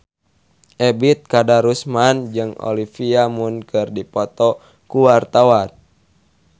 Ebet Kadarusman jeung Olivia Munn keur dipoto ku wartawan